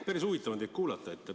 Päris huvitav on teid kuulata.